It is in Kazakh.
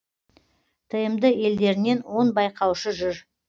тмд елдерінен он байқаушы жүр